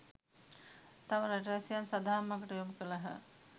තම රටවැසියන් සදහම් මගට යොමු කළහ.